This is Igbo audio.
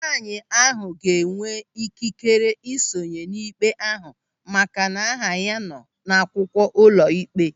Nwaanyị ahụ ga-enwe ikikere ị sonye n'ikpe ahụ maka na aha ya nọ n'akwụkwọ ụlọịkpe.